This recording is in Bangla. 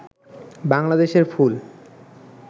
বাংলাদেশের ফুল